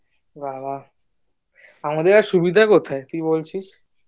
বাহ বাহ আমাদের এর সুবিধা কোথায় তুই বলছিস